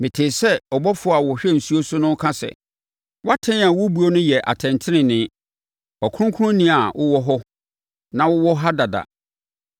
Metee sɛ ɔbɔfoɔ a ɔhwɛ nsuo so no reka sɛ, “wʼatɛn a wobuo no yɛ atɛntenenee. Ɔkronkronni a wowɔ hɔ na wowɔ ha dada,